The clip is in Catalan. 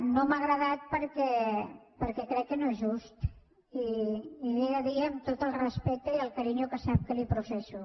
no m’ha agradat perquè crec que no és just i li ho he de dir amb tot el respecte i el carinyo que sap que li professo